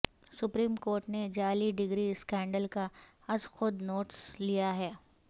supreme court نے جعلی degree scandal کا از خود نوٹس لے لیا